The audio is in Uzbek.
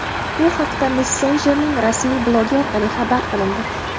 Bu haqda messenjerning rasmiy blogi orqali xabar qilindi .